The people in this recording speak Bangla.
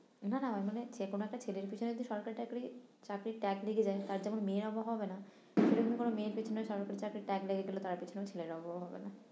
না না আমি মানে যেকোনো একটা ছেলের পিছনে যদি সরকারি চাকরি চাকরির tag লেগে যাই তার যেমন মেয়ের অভাব হবে না সেরকম কোনো মেয়ের পিছনে সরকারি চাকরির tag লেগে গেলে তার পিছনেও ছেলের অভাব হবে না